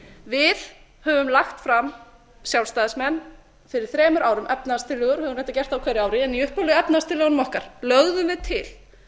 við höfum lagt fram sjálfstæðismenn fyrir þremur árum efnahagstillögur höfum reyndar gert það á hverju ári en í upphaflegu efnahagstillögunum okkar lögðum við til